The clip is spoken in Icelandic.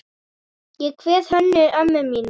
Ég kveð Hönnu ömmu mína.